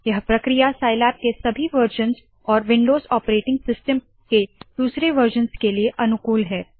यह प्रक्रिया साइलैब के सभी वरज़न्स और विन्डोज़ ऑपरेटिंग सिस्टम के दूसरे वरज़न्स के लिए अनुकूल है